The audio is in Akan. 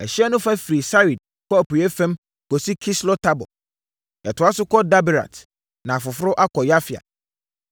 Ɛhyeɛ no fa firi Sarid kɔ apueeɛ fam kɔsi Kislot-Tabor; ɛtoa so kɔ Daberat na aforo akɔ Yafia.